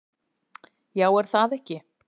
Já, er það ekki?